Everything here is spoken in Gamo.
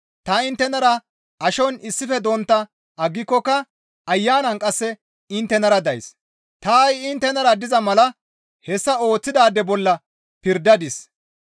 Ta inttenara ashon issife dontta aggikokka ayanan qasse inttenara days; ta ha7i inttenara diza mala hessa ooththidaade bolla pirdadis.